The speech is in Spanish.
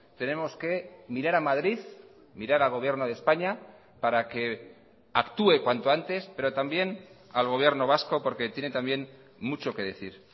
tenemos que mirar a madrid mirar al gobierno de españa para que actúe cuanto antes pero también al gobierno vasco porque tiene también mucho que decir